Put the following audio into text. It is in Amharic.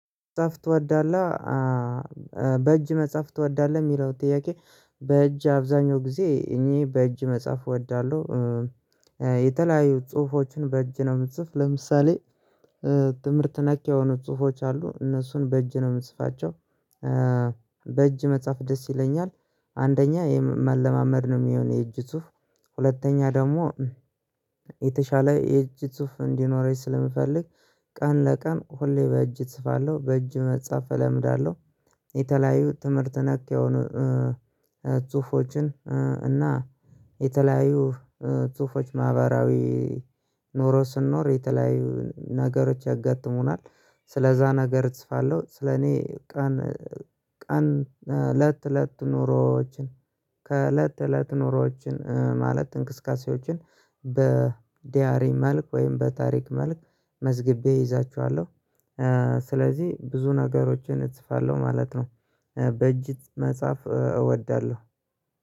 መጽሐፍ ትወዳለህ በእጅ መጽሐፍ ትወዳለህ የሚለው ጥያቄ በእጅ አብዛሀኛው ጊዜ እኔ በእጅ መጽሐፍ እወዳለሁ። የተለያዩ ጽሁፎችን በእጅ ነው የምጽፍ ለምሳሌ ትምህርት ነክ የሆኑ ጽሁፎች አሉ እነሱን በእጅ ነው የምጽፋቸው። በእጅ መጻፍ ደስ ይለኛል። አንደኛ የመለማመድ ነው የሚሆን የእጅ ጽሁፍ ሁለተኛ ደግሞ የተሻለ የእጅ ጽሁፍ እንዲኖረኝ ስለምፈልግ ቀን በቀን ሁሌ በእጅ እጽፋለሁ በእጅ መጻፍ እለምዳለሁ። የተለያዩ ትምህርት ነክ የሆኑ ጽሁፎችን እና የተለያዩ ጽሁፎች ማህበራዊ ኑሮ ስንኖር የተለያዩ ነገሮች ያጋጥሙናል ስለዛ ነገር እጽፋለሁ። ስለኔ ቀን ቀን ለት ለት ኑሮዎችን ከእለት ተእለት ኑሮዎችን ማለት እንቅስቃሴዎችን በዲያሪ መልክ ወይም በታሪክ መልክ መዝረ ግቤ እይዛቸዋለሁ። ስለዚህ ብዙ ነገሮችን እጽፋለሁ ማለት ነው። በእጅ መጻፍ እወዳለሁ